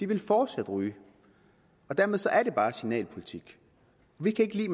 vil fortsat ryge dermed er det bare signalpolitik vi kan ikke lide